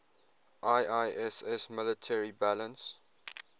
iiss military balance